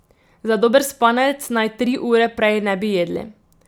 Za dober spanec, naj tri ure prej ne bi jedli.